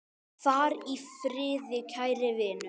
Far í friði, kæri vinur.